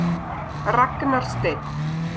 Ragnar Steinn.